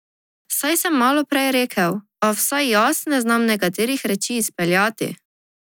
Saj sem malo prej rekel, a vsaj jaz ne znam nekaterih reči izpeljati.